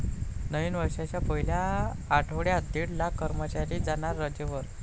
नवीन वर्षाच्या पहिल्या आठवड्यात दीड लाख कर्मचारी जाणार रजेवर!